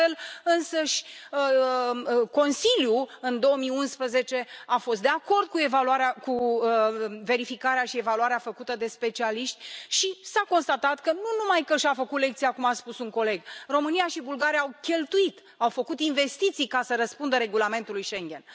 De altfel, însăși Consiliul, în 2011, a fost de acord cu verificarea și evaluarea făcută de specialiști și s a constatat că, nu numai că și a făcut lecția cum a spus un coleg, România și Bulgaria au cheltuit, au făcut investiții ca să răspundă regulamentului Schengen.